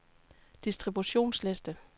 distributionsliste